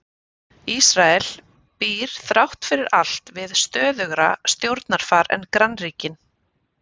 Ísrael býr þrátt fyrir allt við stöðugra stjórnarfar en grannríkin.